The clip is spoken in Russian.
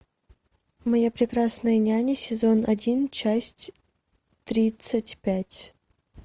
моя прекрасная няня сезон один часть тридцать пять